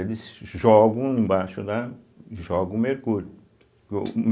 Eles jogam embaixo lá, jogam mercúrio.